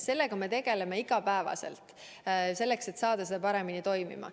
Sellega me tegeleme iga päev, et saada see paremini toimima.